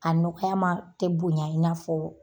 A nɔgɔya ma ,tɛ bonya i na fɔ